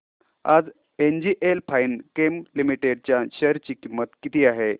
आज NGL fine chem limited च्या share ची किंमत किती आहे